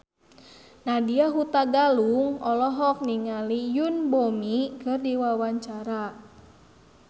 Nadya Hutagalung olohok ningali Yoon Bomi keur diwawancara